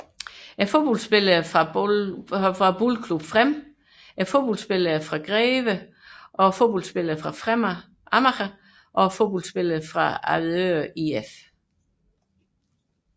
Fodboldspillere fra Boldklubben Frem Fodboldspillere fra Greve Fodbold Fodboldspillere fra Fremad Amager Fodboldspillere fra Avedøre IF